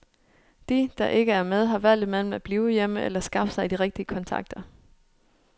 De, der ikke er med, har valget mellem at blive hjemme, eller at skaffe sig de rigtige kontakter.